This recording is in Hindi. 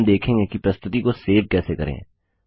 अब हम देखेंगे कि प्रस्तुति को सेव कैसे करें